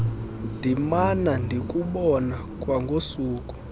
ndimana ndikubona kwangosuku